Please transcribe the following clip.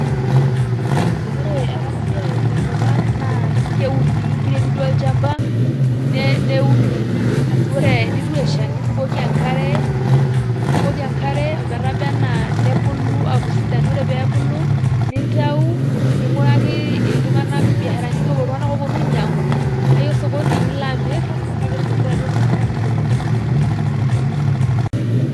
Ore ena siai tenkopang naa kuni keiremi duo olchamba neuni arashuu ore teneitu esha nibukoki enkare ometabanaa nebulu aaku sidan ore pee ebulu nintau ning'uraki iltung'ana irbiasharani duo iltunganak ooponu ainyiang'u paaiya osokoni pailo amir peetumoki taaduo iltung'ana ainyiang'u.